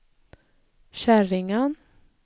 Käringön